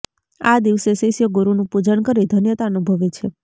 આ દિવસે શિષ્યો ગુરુનું પૂજન કરી ધન્યતા અનુભવે છે